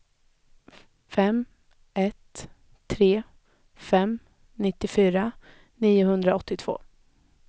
fem ett tre fem nittiofyra niohundraåttiotvå